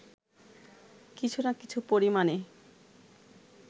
কিছু না কিছু পরিমাণে